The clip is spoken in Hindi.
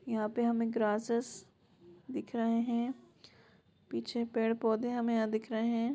यहाँ पे हमे ग्रास्सेस दिख रहे है पीछे पेड़ पौधे हमे यहाँ दिख रहे हैं।